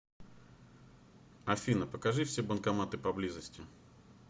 афина покажи все банкоматы поблизости